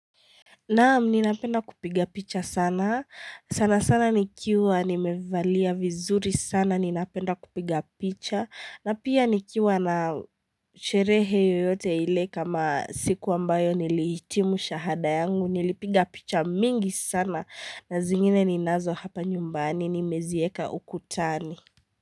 Naam ninapenda kupiga picha sana sana sana nikiwa nimevalia vizuri sana ninapenda kupiga picha na pia nikiwa na sherehe yote ile kama siku ambayo niliitimu shahada yangu nilipiga picha mingi sana na zingine ninazo hapa nyumbani nimezieka ukutani.